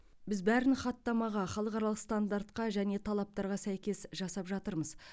біз бәрін хаттамаға халықаралық стандартқа және талаптарға сәйкес жасап жатырмыз